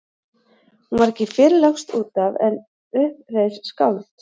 Hún var ekki fyrr lögst út af en upp reis skáld.